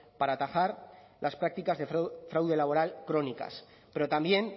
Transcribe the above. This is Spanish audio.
para atajar las prácticas de fraude laboral crónicas pero también